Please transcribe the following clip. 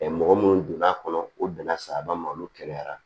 mɔgɔ minnu donn'a kɔnɔ o bɛnna sayaba ma olu kɛnɛyara